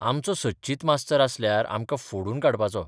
आमचो सच्चित मास्तर आसल्यार आमकां फोडून काडपाचो.